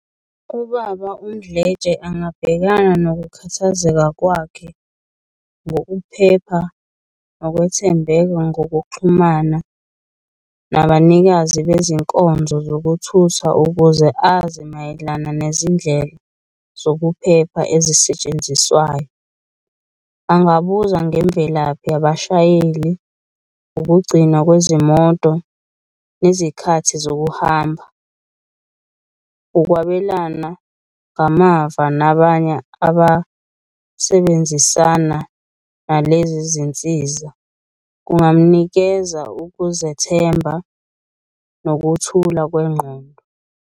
Ubaba uMdletshe angabhekana nokukhathazeka kwakhe ngokuphepha, nokwethembeka ngokuxhumana nabanikazi bezinkonzo zokuthutha ukuze azi mayelana nezindlela zokuphepha ezisetshenziswayo. Angabuza ngemvelaphi yabashayeli, ukugcinwa kwezimoto, izikhathi zokuhamba. Ukwabelana ngamava nabanye abasebenzisana nalezi zinsiza, kungamnikeza ukuzethemba nokuthula kwengqondo.